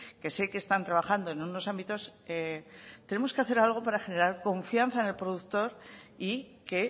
que sé que están trabajando en unos ámbitos tenemos que hacer algo para generar confianza en el productor y que